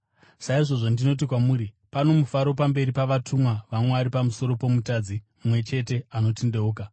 Saizvozvo, ndinoti kwamuri, pano mufaro pamberi pavatumwa vaMwari pamusoro pomutadzi mumwe chete anotendeuka.”